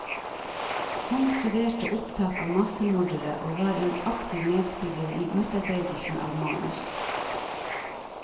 Han studerte opptak av massemordere og var en aktiv medspiller i utarbeidelsen av manus.